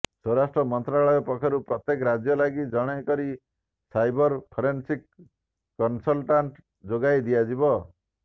ସ୍ୱରାଷ୍ଟ୍ର ମନ୍ତ୍ରାଳୟ ପକ୍ଷରୁ ପ୍ରତ୍ୟେକ ରାଜ୍ୟ ଲାଗି ଜଣେ କରି ସାଇବର ଫୋରେନ୍ସିକ୍ କନସଲ୍ଟାଣ୍ଟ ଯୋଗାଇ ଦିଆଯିବ